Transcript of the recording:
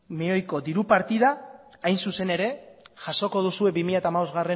milioiko diru partida hain zuzen ere jasoko duzue bi mila hamabostgarrena